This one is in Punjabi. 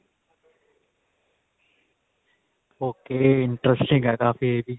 okay interesting ਹੈ ਕਾਫੀ ਇਹ ਵੀ